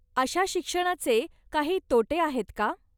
अशा शिक्षणाचे काही तोटे आहेत का?